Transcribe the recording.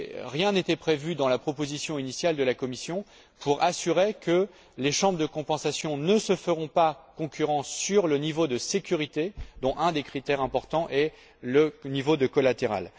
Rien n'était prévu dans la proposition initiale de la Commission pour assurer que les chambres de compensation ne se fassent pas concurrence sur le niveau de sécurité, dont un des critères importants est le niveau de collatéral.